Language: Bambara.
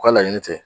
U ka laɲini tɛ